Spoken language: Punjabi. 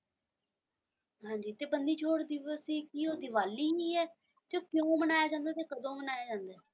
ਹਾਂਜੀ ਤੇ ਬੰਦੀ ਛੋੜ ਦਿਵਸ ਕੀ ਉਹ ਦੀਵਾਲੀ ਹੀ ਹੈ ਤੇ ਉਹ ਕਿਉਂ ਮਨਾਇਆ ਜਾਂਦਾ ਹੈ ਤੇ ਕਦੋਂ ਮਨਾਇਆ ਜਾਂਦਾ ਹੈ?